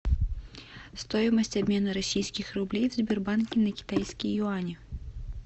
стоимость обмена российских рублей в сбербанке на китайские юани